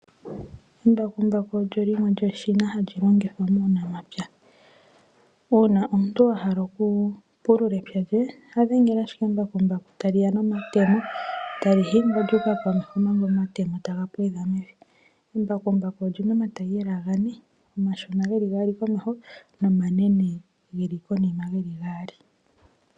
Embakumbaku olyo limwe lyeshina hali longithwa muunamapya, uuna omuntu ohala oku pulula epya lye ya dhengela ashike embakumbaku tali ya nomatemo tali hingwa lyuuka komeho omanga omatemo taga pwedha mevi, Embakumbaku olyina omatayiyela gane, omashina geli gaali geli komeho nomanene geli konima geli gaali.